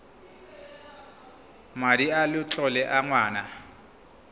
madi a letlole a ngwana